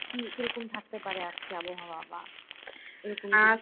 কি কিরকম থাকতে পারে আজকে আবহাওয়া বা